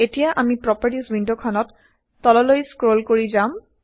এতিয়া আমি প্ৰপাৰ্টিৰ্জ ৱিণ্ডখনত তললৈ স্ক্ৰল কৰি যাম